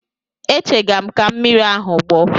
Echega m ka mmiri ahụ gbọọ.